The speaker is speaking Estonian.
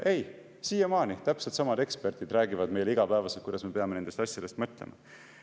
Ei, siiamaani täpselt samad eksperdid räägivad meile igapäevaselt, kuidas me peame nendest asjadest mõtlema.